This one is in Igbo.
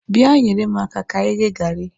Bịa nyere m aka ka anyị ghee gari